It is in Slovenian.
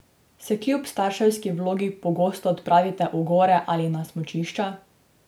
Se kljub starševski vlogi pogosto odpravite v gore ali na smučišča?